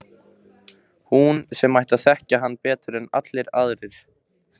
Hún sem ætti að þekkja hann betur en allir aðrir.